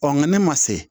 nka ne ma se